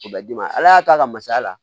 O bɛ d'i ma ala y'a ta ka masya la